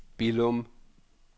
Billum